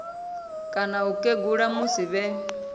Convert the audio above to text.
kana u kegula musi vhe